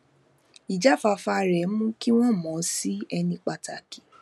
ijafafa rẹ mú kí wọn mọ ọn sí ẹni pàtàkì